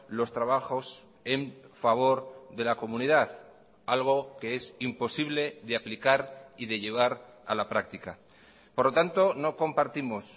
los trabajos en favor de la comunidad algo que es imposible de aplicar y de llevar a la práctica por lo tanto no compartimos